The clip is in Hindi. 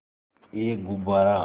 एक गुब्बारा